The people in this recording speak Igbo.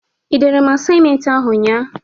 I dere asaịmenti ahụ nnya a?